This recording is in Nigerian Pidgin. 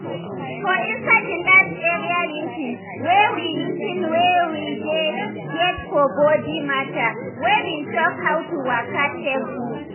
for inside the last area meeting wey we meeting wey we dey get for body matter we bin talk how to waka take gud.